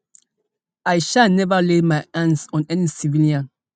i um no ever lay my hands on any civilian